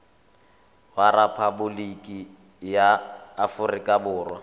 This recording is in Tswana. wa rephaboliki ya aforika borwa